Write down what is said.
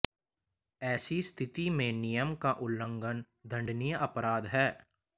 ऐसी स्थिति में नियम का उल्लंघन दंडनीय अपराध है